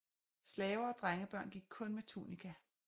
Slaver og drengebørn gik kun med tunika